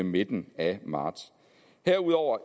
midten af marts herudover